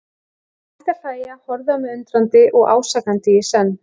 Hann hætti að hlæja, horfði á mig undrandi og ásakandi í senn.